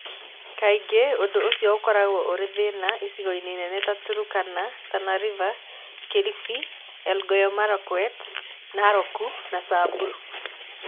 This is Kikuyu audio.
Kaingĩ ũndũ ũcio ũkoragwo ũrĩ thĩna icigo-inĩ nene ta Turkana, Tana River, Kilifi, Elgeyo Marakwet, Narok, na Samburu.